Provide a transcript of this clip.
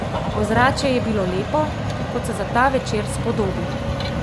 Ozračje je bilo lepo, kot se za ta večer spodobi.